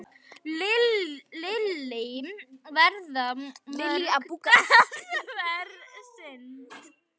Lillý, verða mörg dansverk sýnd?